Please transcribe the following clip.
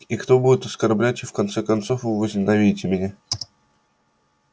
и кто будет оскорблять и в конце концов вы возненавидите меня